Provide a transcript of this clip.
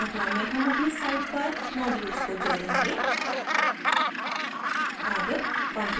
इस श्रृंखला में हम अपनी site पर modules को जोडेंगे